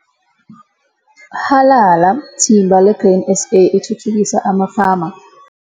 Halala, thimba leGrain SA eThuthukisa amaFama!